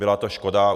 Byla to škoda.